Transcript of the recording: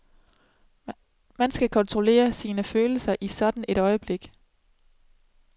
Man skal kontrollere sine følelser i sådan et øjeblik.